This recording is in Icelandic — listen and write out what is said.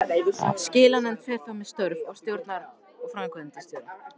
Skilanefnd fer þó með störf stjórnar og framkvæmdastjóra.